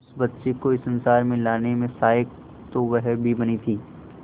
उस बच्ची को इस संसार में लाने में सहायक तो वह भी बनी थी